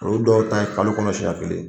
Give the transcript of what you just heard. Olu dɔw ta ye kalo kɔnɔ siɲan kelen ye.